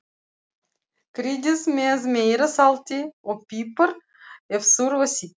Kryddið með meira salti og pipar ef þurfa þykir.